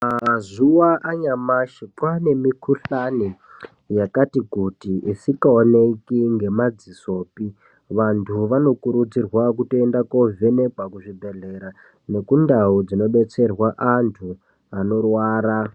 Mazuva anyamashi kwaane mikhuhlane yakati kuti isikaoneki nemadziso pii vantu vanokurudzirwa kutoenda kovhenekwa kuzvibhedhlera nekundau dzinobetserwa antu anorwara.